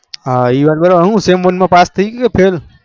હા એ વાત બરો બાર sem one માં pass થઇ ગયો કે fail